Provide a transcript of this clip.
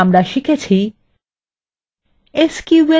সারসংক্ষেপে আমরা শিখেছি কিভাবে: